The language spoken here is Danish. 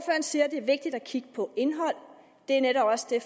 siger at det er vigtigt at kigge på indhold det er netop også det